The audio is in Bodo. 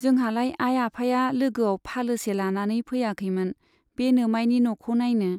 जोंहालाय आइ आफाया लोगोआव फालोसे लानानै फैयाखैमोन बे नोमाइनि न'खौ नाइनो।